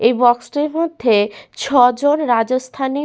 এই বাক্স -টির মধ্যে ছজন রাজস্থানী--